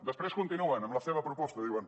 després continuen amb la seva proposta diuen